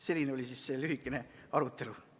Selline oli see lühikene arutelu.